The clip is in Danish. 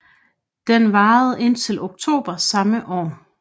Den varede indtil oktober samme år